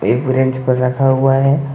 एक ब्रेंच पर रखा हुआ है ।